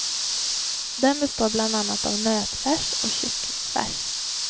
Den består bland annat av nötfärs och kycklingfärs.